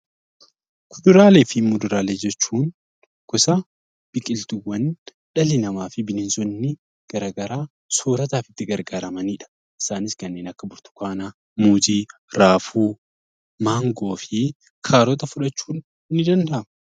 Fuduraalee fi kuduraalee jechuun gosa biqiltuuwwanii dhalli namaa fi bineensonni garaagaraa soorata itti gargaaramanii isaanis kan akka burtukaanaa, muuzii, raafuu, maangoo fi kaarotii fudhachuun ni danda'ama.